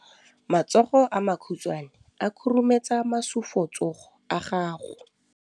Matsogo a makhutshwane a khurumetsa masufutsogo a gago.